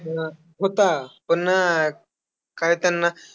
हां, होता पण काय त्यांना,